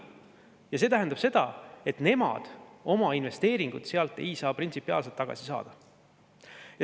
Ja see tähendab seda, et nemad oma investeeringuid ei saa sealt printsipiaalselt tagasi saada.